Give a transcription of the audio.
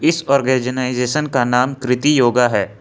इस आर्गनाइजेशन का नाम कृति योगा है।